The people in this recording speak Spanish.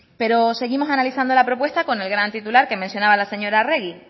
pero seguimos analizando la propuesta con el gran titular que mencionaba la señora arregi